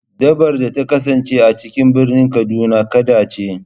Dabbar da ta kasance a cikin birnin kaduna, kada ce.